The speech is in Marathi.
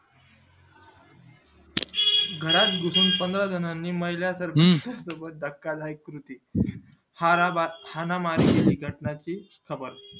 घरात घुसून पंधरा जणांनी महिला तर्फे सोबत धक्का दायक कृती ठाणा मार्गे केली घटना ची घाबर